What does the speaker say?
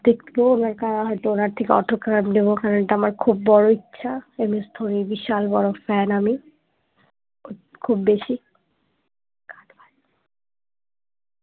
দেখবো দেখা হয়তো ওনার থেকে autograph নেবো কারণ ওটা আমার খুব বড়ো ইচ্ছা এম এস ধোনির বিশাল বড় fan আমি খুব বেশি